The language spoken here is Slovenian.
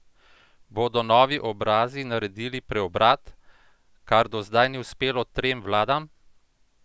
Bodo novi obrazi naredili preobrat, kar do zdaj ni uspelo trem vladam?